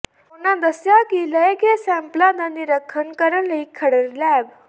ਉਨ੍ਹਾਂ ਦੱਸਿਆ ਕਿ ਲਏ ਗਏ ਸੈਂਪਲਾਂ ਦਾ ਨਿਰੀਖਣ ਕਰਨ ਲਈ ਖਰੜ ਲੈਬ